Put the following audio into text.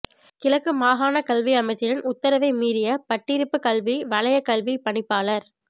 கிழக்கு மாகாண கல்வி அமைச்சரின் உத்தரவை மீறிய பட்டிருப்பு கல்வி வலயக் கல்வி பணிப்பாளர்